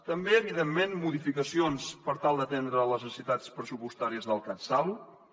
també evidentment modificacions per tal d’atendre les necessitats pressupostàries del catsalut